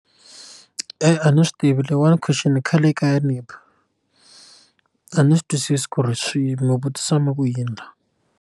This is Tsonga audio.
Eya a ndzi swi tivi leyiwani question i khale yi kha yi ni ba a ni swi twisisi ku ri swi vutisa mi ku yini .